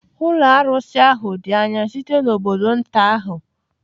Ụlọ arụsị ahụ dị anya site n'obodo nta ahụ.